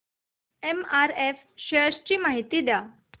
MRF shares ची माहिती द्या